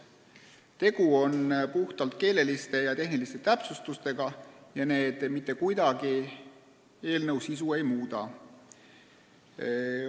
Tegu on puhtalt keeleliste ja tehniliste täpsustustega, mis mitte kuidagi eelnõu sisu ei muuda.